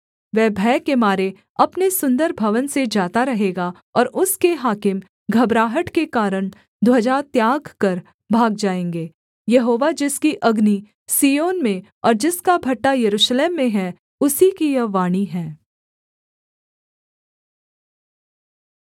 वह भय के मारे अपने सुन्दर भवन से जाता रहेगा और उसके हाकिम घबराहट के कारण ध्वजा त्याग कर भाग जाएँगे यहोवा जिसकी अग्नि सिय्योन में और जिसका भट्ठा यरूशलेम में हैं उसी की यह वाणी है